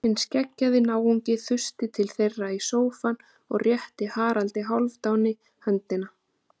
Hinn skeggjaði náunginn þusti til þeirra í sófann og rétti Haraldi Hálfdáni höndina.